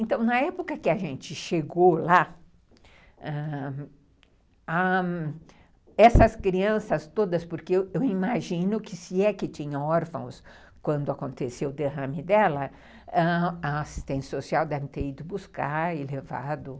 Então, na época que a gente chegou lá, ãh ãh essas crianças todas, porque eu imagino que se é que tinham órfãos quando aconteceu o derrame dela, ãh a assistente social deve ter ido buscar e levado.